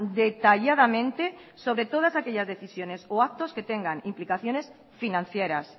detalladamente sobre todas aquellas decisiones o actos que tengan implicaciones financieras